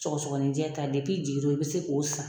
Sɔgɔsɔgɔninjɛ ta jigindon i bɛ se k'o san